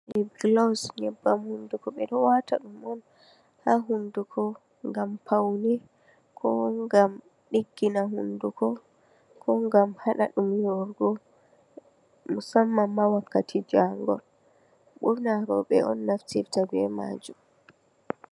Lipglos nyaɓbam hunduko ɓeɗo wata ɗum on ha hunduko ngam faune ko ngan ko ngam ɗiggina hunduko ko ngam haɗa ɗum yorugo, musamman ma Wakkati jangol ɓurna roɓe on naftirta be Majum.